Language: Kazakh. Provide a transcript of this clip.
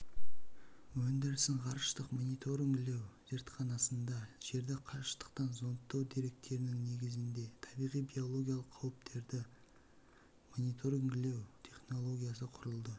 өндірісін ғарыштық мониторингілеу зертханасында жерді қашықтықтан зондтау деректерінің негізінде табиғи биологиялық қауіптерді мониторингілеу технологиясы құрылды